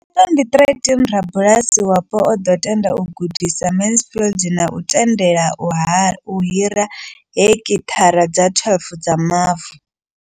Nga 2013, rabulasi wapo o ḓo tenda u gudisa Mansfield na u tendela u hira heki thara dza 12 dza mavu.